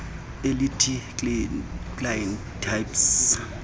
elithi client types